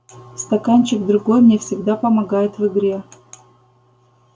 стаканчик другой мне всегда помогает в игре